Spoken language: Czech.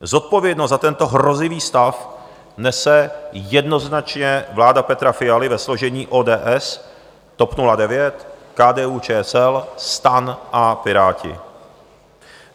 Zodpovědnost za tento hrozivý stav nese jednoznačně vláda Petra Fialy ve složení ODS, TOP 09, KDU-ČSL, STAN a Piráti.